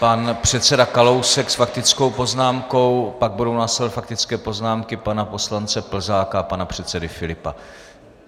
Pan předseda Kalousek s faktickou poznámkou, pak budou následovat faktické poznámky pana poslance Plzáka a pana předsedy Filipa.